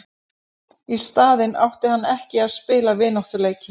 Í staðinn átti hann ekki að spila vináttuleiki.